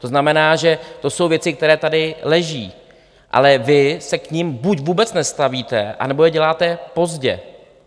To znamená, že to jsou věci, které tady leží, ale vy se k nim buď vůbec nestavíte, anebo je děláte pozdě.